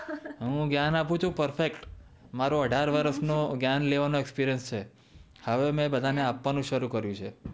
હા હું જ્ઞાન આપુછું પરફેકટ મારો અઢાર વર્ષ નો જ્ઞાન લેવાનો એક્સપેરીરીયાંશ છે હવે મેં બધા ને આપવનું શરુ કરિયું છે